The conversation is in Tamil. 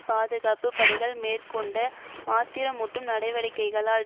பாதுகாப்பு படைகள் மேற்கொண்ட ஆத்திரமூட்டும் நடவடிக்கைகளால்